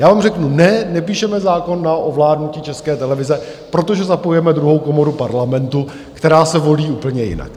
Já vám řeknu ne, nepíšeme zákon na ovládnutí České televize, protože zapojujeme druhou komoru Parlamentu, která se volí úplně jinak.